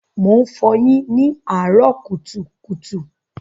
Mò ń fọyín ní àárọ́ kùtùkùtù.